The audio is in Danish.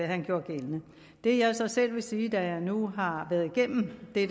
han gjorde gældende det jeg så selv vil sige da jeg nu har været igennem det